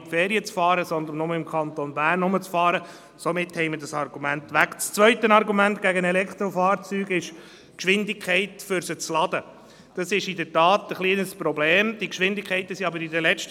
Auch bei allen guten Gedanken für die Umwelt ist aber doch zu bedenken, dass wir die Umweltprobleme nur verlagern.